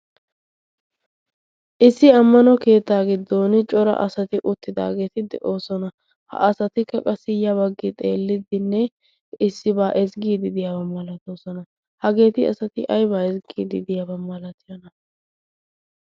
issi ammano keettaa giddon cora asati uttidaageeti de'oosona. ha asatikka qa siyya baggi xeelliddinne issibaa ezggiidi deyaaba malatoosona. hageeti asati aybaa ezggiidi deyaaba malatiyona?